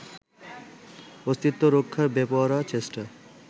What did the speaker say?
অস্তিত্ব রক্ষার বেপরোয়া চেষ্টায়